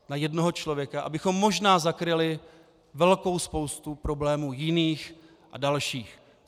Na jednoho člověka, abychom možná zakryli velkou spoustu problémů jiných a dalších.